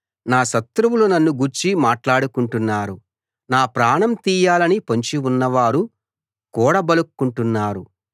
నా శత్రువులు నన్ను గూర్చి మాట్లాడుకుంటున్నారు నా ప్రాణం తీయాలని పొంచి ఉన్నవారు కూడబలుక్కుంటున్నారు